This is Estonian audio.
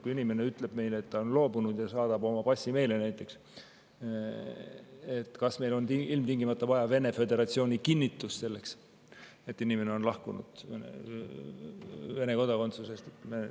Kui inimene ütleb meile, et ta on Vene loobunud ja näiteks saadab meile oma passi, kas meil siis on ilmtingimata vaja Vene föderatsiooni kinnitust, et inimene on lahkunud Vene kodakondsusest?